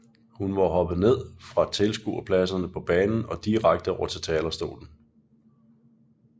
Hun var hoppet fra ned fra tilskuerpladserne på banen og direkte over til talerstolen